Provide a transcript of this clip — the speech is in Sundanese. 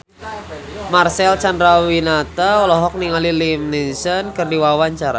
Marcel Chandrawinata olohok ningali Liam Neeson keur diwawancara